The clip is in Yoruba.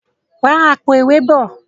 rà Àpò-ìwé bọ!